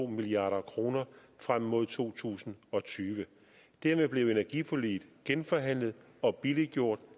milliard kroner frem mod to tusind og tyve dermed blev energiforliget genforhandlet og billiggjort